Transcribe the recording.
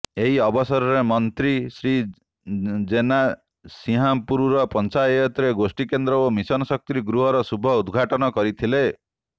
ଏହି ଅବସରରେ ମନ୍ତ୍ରୀ ଶ୍ରୀ ଜେନା ସିଂହାରପୁର ପଞ୍ଚାୟତରେ ଗୋଷ୍ଠୀକେନ୍ଦ୍ର ଓ ମିଶନଶକ୍ତି ଗୃହର ଶୁଭ ଉଦ୍ଘାଟନ କରିଥିଲେ